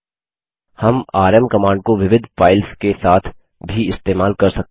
हम RM command को विविध फाइल्स के साथ भी इस्तेमाल कर सकते हैं